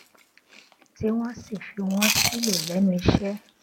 tí wón sì fi wón sílò lénu iṣé